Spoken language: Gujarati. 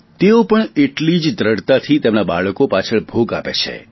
તેઓ પણ એટલી જ દ્રઢતાથી તેમના બાળકો પાછળ ભોગ આપે છે